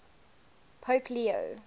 pope leo